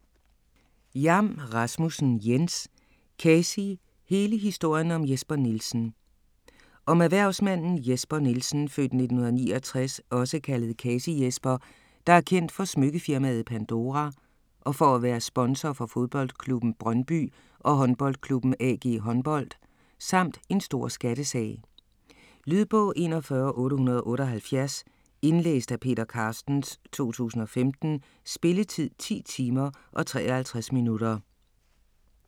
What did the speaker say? Jam Rasmussen, Jens: Kasi: hele historien om Jesper Nielsen Om erhvervsmanden Jesper Nielsen (f. 1969), også kaldet Kasi-Jesper, der er kendt for smykkefirmaet Pandora og for at være sponsor for fodboldklubben Brøndby og håndboldklubben AG Håndbold, samt en stor skattesag. Lydbog 41878 Indlæst af Peter Carstens, 2015. Spilletid: 10 timer, 53 minutter.